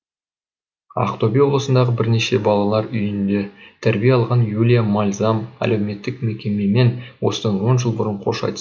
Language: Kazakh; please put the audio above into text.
ақтөбе облысындағы бірнеше балалар үйінде тәрбие алған юлия мальзам әлеуметтік мекемемен осыдан он жыл бұрын қош айтысқан